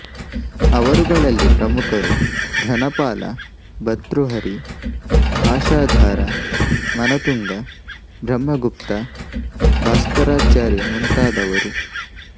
ಅವರುಗಳಲ್ಲಿ ಪ್ರಮುಖರು ಧನಪಾಲ ಭರ್ತುಹರಿ ಆಶಾಧಾರ ಮನತುಂಗ ಬ್ರಹ್ಮಗುಪ್ತ ಭಾಸ್ಕರಾಚಾರ್ಯ ಮುಂತಾದವರು